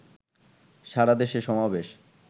সারাদেশে সমাবেশ